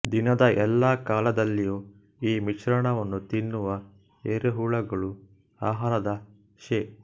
ದಿನದ ಎಲ್ಲ ಕಾಲದಲ್ಲಿಯೂ ಈ ಮಿಶ್ರಣವನ್ನು ತಿನ್ನುವ ಎರೆಹುಳುಗಳು ಆಹಾರದ ಶೇ